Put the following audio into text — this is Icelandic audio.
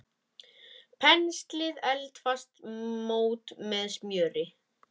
Penslið eldfast mót með smjöri.